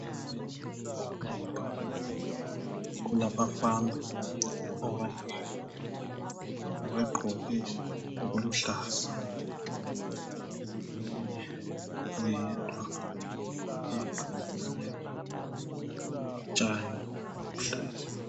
Lapha kulabafana abanengi, abagqoke okuluhlaza. Omunye oyedwa ugqoke okumnyama, lotshani obuluhlaza.